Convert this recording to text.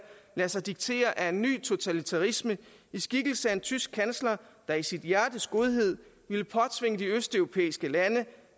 lade sig diktere af en ny totalitarisme i skikkelse af en tysk kansler der i sit hjertes godhed ville påtvinge de østeuropæiske lande